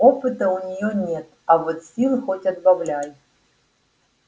опыта у неё нет а вот сил хоть отбавляй